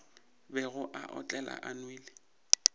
bego a otlela a nwele